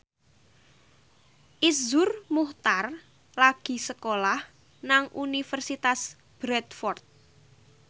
Iszur Muchtar lagi sekolah nang Universitas Bradford